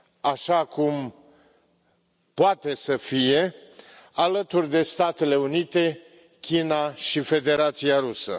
așa cum poate să fie, alături de Statele Unite, China și Federația Rusă.